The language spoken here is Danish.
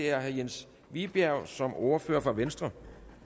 er herre jens vibjerg som ordfører for venstre